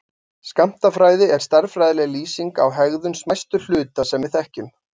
Skammtafræði er stærðfræðileg lýsing á hegðun smæstu hluta sem við þekkjum.